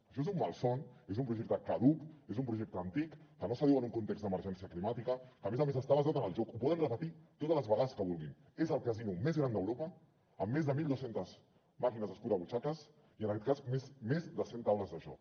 això és un malson és un projecte caduc és un projecte antic que no s’adiu a un context d’emergència climàtica que a més a més està basat en el joc ho poden repetir totes les vegades que vulguin és el casino més gran d’europa amb més de mil dos cents màquines escurabutxaques i en aquest cas més de cent taules de joc